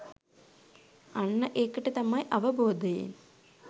අන්න ඒකට තමයි අවබෝධයෙන්